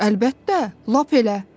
Əlbəttə, lap elə.